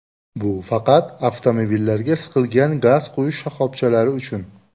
Bu faqat avtomobillarga siqilgan gaz quyish shoxobchalari uchun.